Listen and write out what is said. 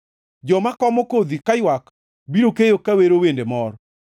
Joma komo kodhi kaywak biro keyo ka wero wende mor.